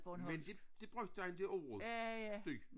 Men det det brugte han det ordet støj